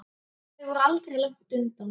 Þau voru aldrei langt undan.